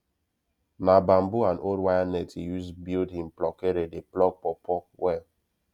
na bamboo and old wire net he use build him pluckere dey pluck pawpaw well